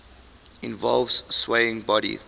involve swaying body